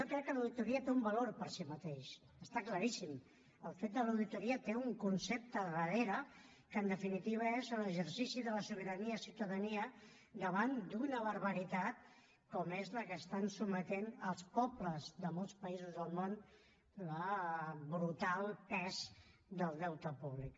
jo crec que l’auditoria té un valor per si mateixa està claríssim el fet de l’auditoria té un concepte a darrere que en definitiva és l’exercici de la sobirania ciutadana davant d’una barbaritat com és la que està sotmetent els pobles de molts països del món el brutal pes del deute públic